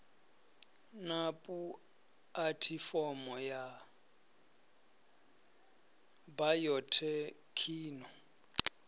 na pu athifomo ya bayothekhino